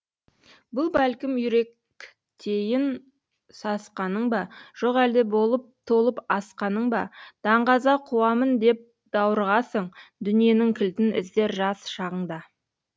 бұл бәлкім үйректейін сасқаның ба жоқ әлде болып толып асқаның ба даңғаза қуамын деп даурығасың дүниенің кілтін іздер жас шағыңда